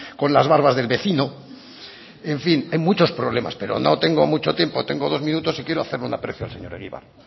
con las barbas del vecino en fin hay muchos problemas pero no tengo mucho tiempo tengo dos minutos y quiero hacer un aprecio al señor egibar